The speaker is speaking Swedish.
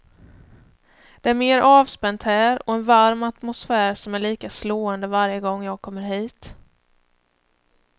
Det är mer avspänt här och en varm atmosfär som är lika slående varje gång jag kommer hit.